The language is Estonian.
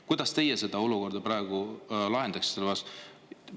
Kuidas teie seda olukorda praegu lahendaksite?